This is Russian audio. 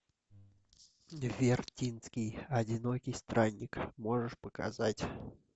вертинский одинокий странник можешь показать